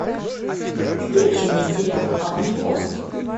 включи мне сериал аванпост